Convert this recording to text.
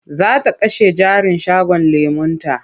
Za ta kashe jarin shagon lemon nata.